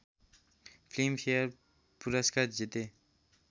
Filmfare पुरस्कार जिते